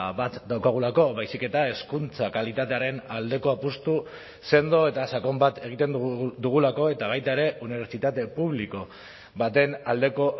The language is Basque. bat daukagulako baizik eta hezkuntza kalitatearen aldeko apustu sendo eta sakon bat egiten dugulako eta baita ere unibertsitate publiko baten aldeko